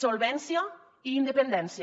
solvència i independència